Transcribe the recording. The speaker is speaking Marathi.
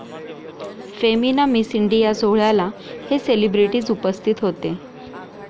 फेमिना मिस इंडिया' सोहळ्याला हे सेलिब्रिटीज् उपस्थित होते